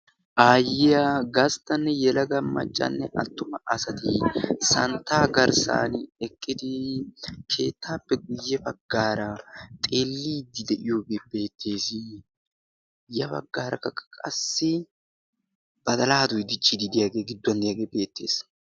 aayyiya gasttanne yelaga maccanne attuma asati santta garssan eqqidi keettaappe guyye baggaara xeelliiddi de'iyoogee beettees ya baggaarakka qassi badalaay dichchiidi deyaagee gidduwan diyaagee beettees